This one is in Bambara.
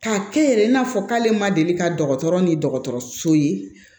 K'a kɛ yɛrɛ i n'a fɔ k'ale ma deli ka dɔgɔtɔrɔ ni dɔgɔtɔrɔso ye